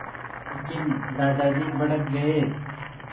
लेकिन दादाजी भड़क गए